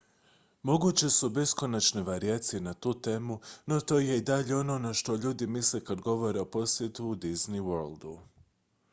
"moguće su beskonačne varijacije na tu temu no to je i dalje ono na što ljudi misle kad govore o "posjetu disney worldu"".